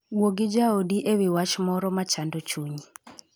Wuo gi jaodi e wi wach moro ma chando chunyi.